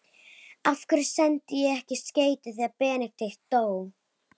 Af hverju sendi ég ekki skeyti þegar Benedikt dó?